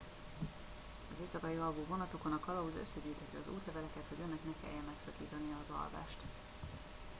az éjszakai alvó vonatokon a kalauz összegyűjtheti az útleveleket hogy önnek ne kelljen megszakítania az alvást